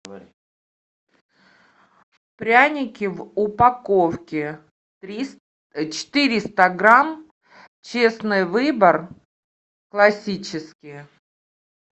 пряники в упаковке четыреста грамм честный выбор классические